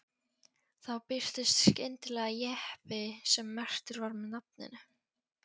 Þá birtist skyndilega jeppi sem merktur var með nafninu